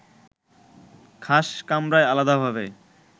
খাস কামরায় আলাদাভাবে